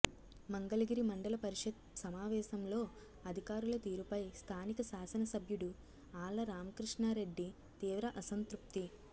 మంగళగిరి మండల పరిషత్ సమావేశంలో అధికారుల తీరుపై స్ధానిక శాసననసభ్యుడు ఆళ్ల రామకృష్ణారెడ్డి తీవ్ర అసంతృప్తి